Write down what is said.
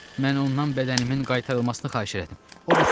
Mən ondan bədənimin qaytarılmasını xahiş elədim.